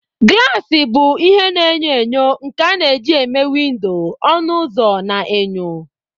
Glasi bụ ihe na-enyo enyo nke a na-eji eme windo, ọnụ ụzọ, na enyo.